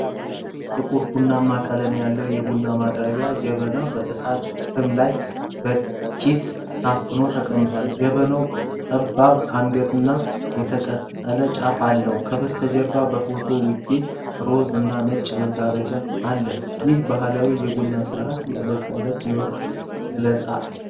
ጥቁር ቡናማ ቀለም ያለው የቡና ማቅረቢያ ጀበና በእሳት ፍም ላይ በጪስ ታፍኖ ተቀምጧል። ጀበናው ጠባብ አንገትና የተቀጠለ ጫፍ አለው። ከበስተጀርባ በፎቶው ውጭ ሮዝ እና ነጭ መጋረጃ አለ። ይህም የባህል የቡና ስርአትና የዕለተ ተዕለት ሕይወት ይገልጻል።